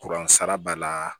Kuran sara b'a la